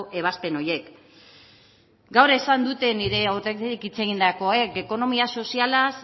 ebazpen horiek gaur esan dute nire aurretik hitz egindakoek ekonomia sozialaz